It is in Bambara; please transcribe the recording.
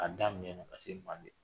A da mɛna ka se manden .